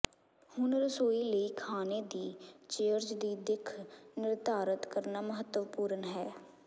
ਹੁਣ ਰਸੋਈ ਲਈ ਖਾਣੇ ਦੀ ਚੇਅਰਜ਼ ਦੀ ਦਿੱਖ ਨਿਰਧਾਰਤ ਕਰਨਾ ਮਹੱਤਵਪੂਰਨ ਹੈ